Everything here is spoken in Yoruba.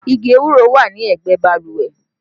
Igi ewúro wà ní ẹgbẹ́ balùwẹ̀